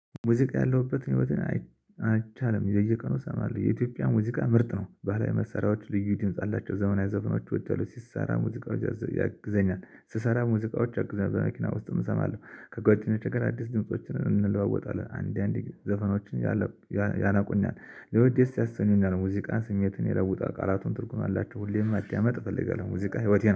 ሙዚቃ ያለሁበትን ህይወትን አንቻልም። በየቀኑ ሰማሁ የኢትዮጵያ ሙዚቃ ምርጥ ነው። ባህላዊ መሰሪያዎች ልዩ ድምጽ አላቸው። ዘመናዊ ዘፈኖች ወዳለሁ። ሲሰራ ሙዚቃዎች ያግዘኛል፣ ስሰራ ሙዚቃዎች ያግዘኛል። በመኪና ውስጥ እሰማለሁ። ከጓደኞቻችን ጋር አዲስ ድምፆችን እንለዋወጣለን። አንድ አንድ ዘፈኖችን ያነቁናል። ለወድ ደስ ያሰኘኙኛል። ሲያሰኑና ሙዚቃን ስሜትን ይለውጣል። ቃላቱም ትርጉሙ አላቸው። ሁሌም ማዳመጥ እፈልጋለሁ። ሙዚቃ ህይወቴ ነው።